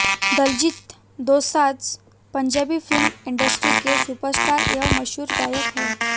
Diljit Dosanjh Punjabi film industry के superstar एवं मशहूर गायक है